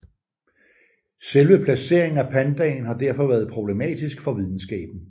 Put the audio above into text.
Selve placeringen af pandaen har derfor været problematisk for videnskaben